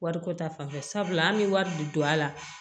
Wariko ta fanfɛla an be wari de don a la